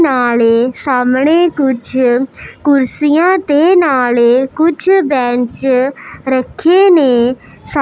ਨਾਲੇ ਸਾਹਮਣੇ ਕੁਝ ਕੁਰਸੀਆਂ ਤੇ ਨਾਲੇ ਕੁਛ ਬੈਂਚ ਰੱਖੇ ਨੇਂ।